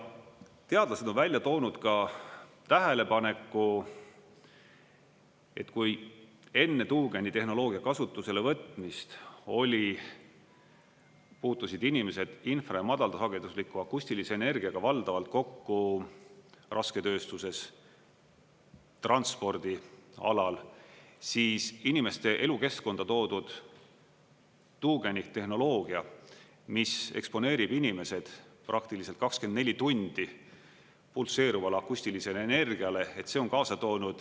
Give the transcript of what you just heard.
Teadlased on välja toonud ka tähelepaneku, et kui enne tuugenitehnoloogia kasutusele võtmist puutusid inimesed infra‑ ja madalsagedusliku akustilise energiaga valdavalt kokku rasketööstuses, transpordialal, siis inimeste elukeskkonda toodud tuugenite tehnoloogia, mis eksponeerib inimesed praktiliselt 24 tundi pulseerivale akustilisi energiale, see on kaasa toonud …